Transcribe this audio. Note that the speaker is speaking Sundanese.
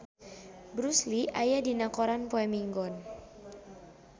Bruce Lee aya dina koran poe Minggon